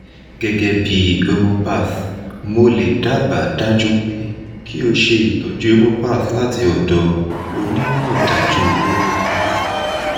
gegebi homeopath mo le daba daju pe ki o se itoju homeopath lati odo onimodaju homeopath